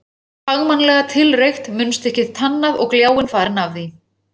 Hún var fagmannlega tilreykt, munnstykkið tannað og gljáinn farinn af því.